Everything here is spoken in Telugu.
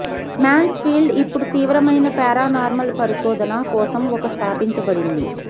మాన్స్ఫీల్డ్ ఇప్పుడు తీవ్రమైన పారానార్మల్ పరిశోధన కోసం ఒక స్థాపించబడింది